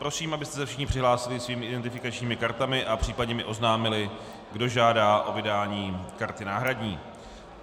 Prosím, abyste se všichni přihlásili svými identifikačními kartami a případně mi oznámili, kdo žádá o vydání karty náhradní.